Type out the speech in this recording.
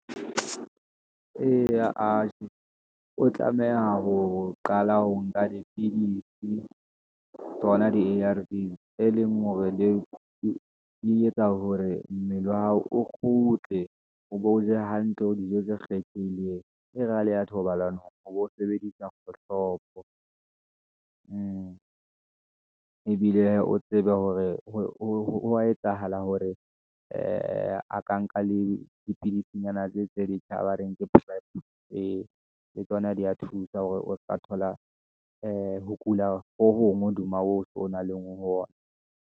Eya a je, o tlameha ho qala ho nka dipidisi, tsona di-A_R_V e leng hore le di e etsa hore mmele wa hao o kgutle, o bo o je hantle, o dijo tse kgethehileng. E re ha leya thobalanong o bo sebedisa kgohlopo , ebile hee o tsebe hore ho etsahala hore ee a ka nka le dipidisinyana tse, tse dintjha ba reng ke prep, ee tsona di ya thusa hore o seka thola, ee ho kula ho hong hodima ho o tso nang le hona.